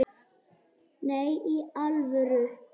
Nei, í alvöru